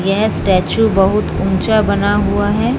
यह स्टैचू बहुत ऊँचा बना हुआ है।